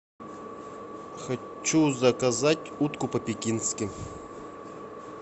хочу заказать утку по пекински